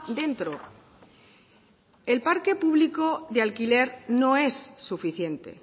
dentro el parque público de alquiler no es suficiente